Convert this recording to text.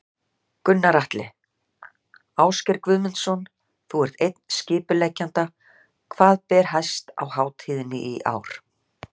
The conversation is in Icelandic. Gunnar Atli: Ásgeir Guðmundsson, þú ert einn skipuleggjenda, hvað ber hæst á hátíðinni í ár?